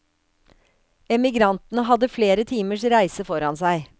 Emigrantene hadde flere timers reise foran seg.